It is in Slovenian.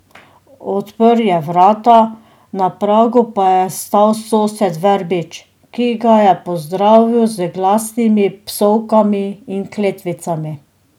Odprl je vrata, na pragu pa je stal sosed Verbič, ki ga je pozdravil z glasnimi psovkami in kletvicami.